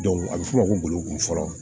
a bɛ f'o ma ko bolokoli fɔlɔ